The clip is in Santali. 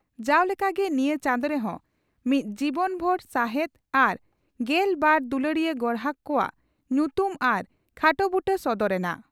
ᱡᱟᱣ ᱞᱮᱠᱟᱜᱮ ᱱᱤᱭᱟᱹ ᱪᱟᱸᱫᱚ ᱨᱮᱦᱚᱸ ᱢᱤᱫ ᱡᱤᱵᱚᱱᱵᱷᱩᱨ ᱥᱟᱦᱮᱛ ᱟᱨ ᱜᱮᱞ ᱵᱟᱨ ᱫᱩᱞᱟᱹᱲᱤᱭᱟᱹ ᱜᱚᱨᱦᱟᱠ ᱠᱚᱣᱟᱜ ᱧᱩᱛᱩᱢ ᱟᱨ ᱠᱷᱟᱴᱚ ᱵᱩᱴᱟᱹ ᱥᱚᱫᱚᱨ ᱮᱱᱟ ᱾